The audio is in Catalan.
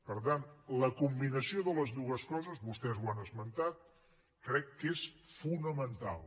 per tant la combinació de les dues coses vostès ho han esmentat crec que és fonamental